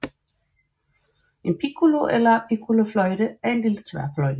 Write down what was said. En piccolo eller piccolofløjte er en lille tværfløjte